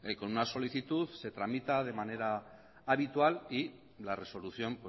con una solicitud se tramita de manera habitual y la resolución